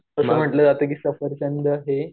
असं म्हंटलं जातं की सफरचंद हे